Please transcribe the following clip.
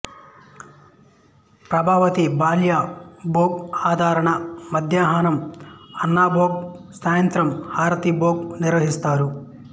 ప్రవతి బాల్య భోగ్ ఆరాధన మధ్యాహ్నం అన్నభోగ్ సాయంత్రం హారతి భోగ్ నిర్వహిస్తారు